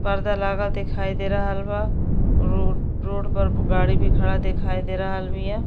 पर्दा लागल दिखाई दे रहल बा। रो रोड पर गाड़ी भी खड़ा दिखाई दे रहल बिया।